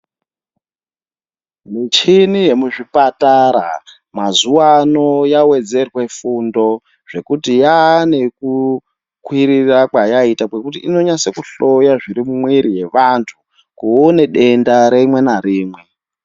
Muchhini yemuzvipatara, mazuwa ano yawedzerwa fundo, zvekuti yaanekukwirira kwayaita kwekuti inonasekuhloya zviri mumwiri yevantu, kuona denda rimwe narimwe.